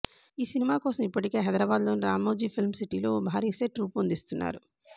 ఈ సినిమాకోసం ఇప్పటికే హైదరాబాద్లోని రామోజీ ఫిల్మ్ సిటీలో ఓ భారీ సెట్ రూపొందిస్తున్నారు